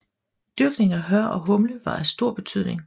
Dyrkning af hør og humle var af stor betydning